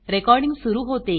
recording सुरू होते